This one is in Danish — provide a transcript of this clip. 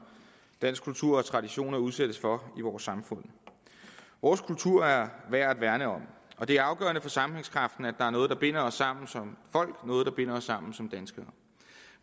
dansk kultur og danske traditioner udsættes for i vores samfund vores kultur er værd at værne om og det er afgørende for sammenhængskraften at der er noget der binder os sammen som folk noget der binder os sammen som danskere